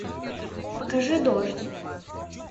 покажи дождь